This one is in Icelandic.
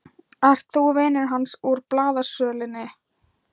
Ert þú vinur hans úr blaðasölunni?